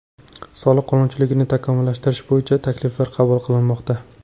Soliq qonunchiligini takomillashtirish bo‘yicha takliflar qabul qilinmoqda.